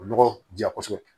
O nɔgɔ diya kosɛbɛ